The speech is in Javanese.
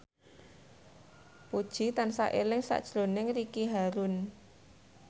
Puji tansah eling sakjroning Ricky Harun